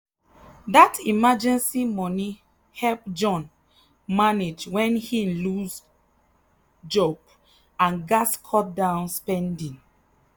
that emergency money help john manage when him lose job and gats cut down spending.